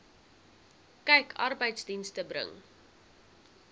kyk arbeidsdienste bring